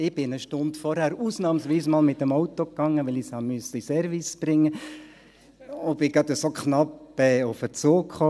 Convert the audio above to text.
» Ich bin eine Stunde zuvor ausnahmsweise mal mit dem Auto gefahren, da ich es in den Service bringen musste, und schaffte es gerade so knapp auf den Zug.